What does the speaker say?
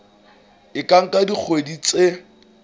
e ka nka dikgwedi tse